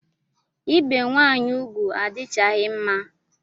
Ibe nwanyị ugwu adichaghi mma